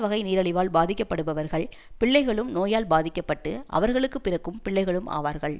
வகை நீரழிவால் பாதிக்கப்படுபவர்கள் பிள்ளைகளும் நோயால் பாதிக்க பட்டு அவர்களுக்கு பிறகும் பிள்ளைகளும் ஆவார்கள்